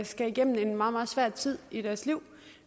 skal igennem en meget meget svær tid i deres liv